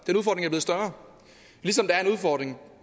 større ligesom der er en udfordring